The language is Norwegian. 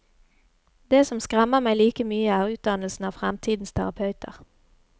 Det som skremmer meg like mye, er utdannelsen av fremtidens terapeuter.